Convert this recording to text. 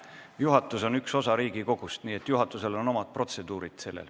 Juhatus on üks osa Riigikogust, nii et juhatusel on selle jaoks omad protseduurid.